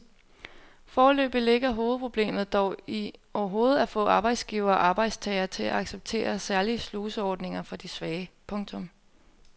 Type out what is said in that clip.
Foreløbig ligger hovedproblemet dog i overhovedet at få arbejdsgivere og arbejdstagere til at acceptere særlige sluseordninger for de svage. punktum